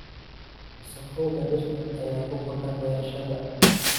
Wasakhowga dhirta ayaa ku kordha beerashada.